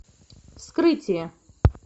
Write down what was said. вскрытие